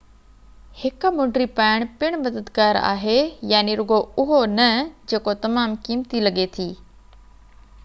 هڪ مُنڊي پائڻ پڻ مددگار آهي رڳو اهو نه جيڪو تمام قيمتي لڳي ٿي